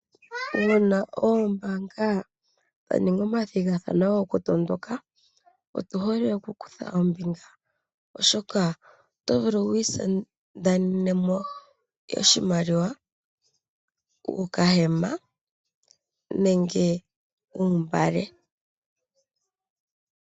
Una oombanga dha ninga omathigathano goku tondoka otu hole oku kutha ombinga oshoka oto vulu wu isindanenemo oshimaliwa, okahema nenge uugala.